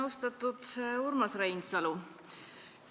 Austatud Urmas Reinsalu!